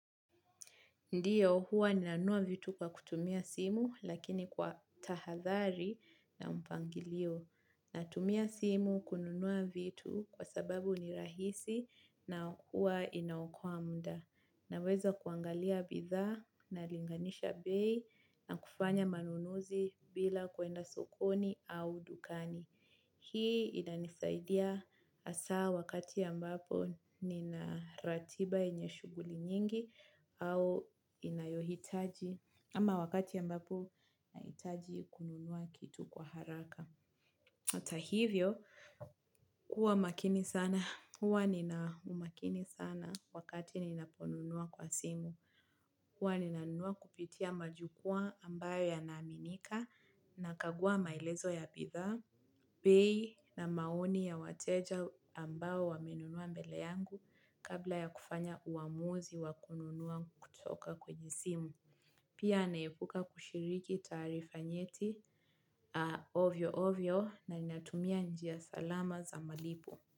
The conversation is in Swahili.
Ndiyo huwa nina nunua vitu kwa kutumia simu lakini kwa tahadhari na mpangilio. Na tumia simu kununua vitu kwa sababu ni rahisi na huwa inaokoa muda. Na weza kuangalia bidha na linganisha bei na kufanya manunuzi bila kwenda sokoni au dukani. Hii inanisaidia hasa wakati ambapo nina ratiba yenye shughuli nyingi au wakati nahitaji kununua kitu kwa haraka. Ata hivyo, kuwa makini sana, huwa nina umakini sana wakati ninaponunua kwa simu. Huwa nina nunua kupitia majukwa ambayo yanaaminika, na kagua maelezo ya bidhaa, bei na maoni ya wateja ambao wamenunua mbele yangu kabla ya kufanya uamuzi wa kununua kutoka kwenye simu. Pia naepuka kushiriki taarifa nyeti ovyo ovyo na ninatumia njia salama za malipo.